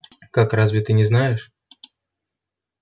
как разве ты не знаешь